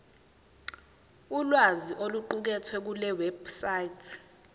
ulwazi oluqukethwe kulewebsite